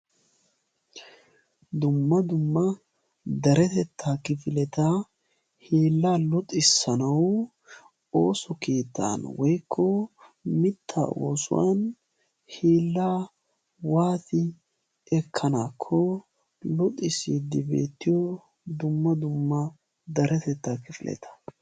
dumma dumma daretettaa kifileta hiillaa luxissanau oosu kiittan woikko mittaa oosuwan hiillaa waati ekkanaakko luxisiiddi beettiyo dumma dumma daretettaa kifiileta.